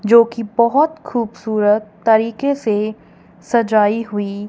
जो की बहोत खूबसूरत तरीके से सजाई हुई--